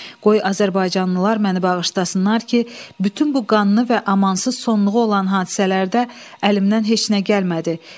Qoy azərbaycanlılar məni bağışlasınlar ki, bütün bu qanlı və amansız sonluğu olan hadisələrdə əlimdən heç nə gəlmədi.